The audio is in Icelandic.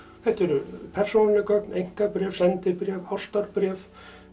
þetta eru persónuleg gögn einkabréf sendibréf ástarbréf